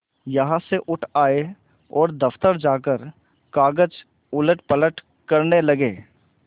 यहाँ से उठ आये और दफ्तर जाकर कागज उलटपलट करने लगे